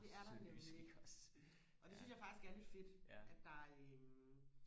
det er der nemlig og det synes jeg faktisk er lidt fedt at der øh